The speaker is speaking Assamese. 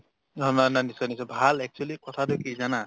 অ না না নিশ্চয় নিশ্চয় ভাল actually কথাতো কি জানা ?